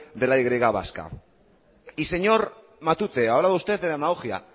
de la y vasca y señor matute hablaba usted de demagogia